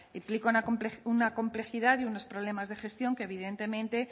implica una complejidad y unos problemas de gestión que evidentemente